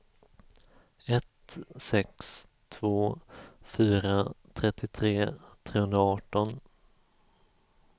ett sex två fyra trettiotre trehundraarton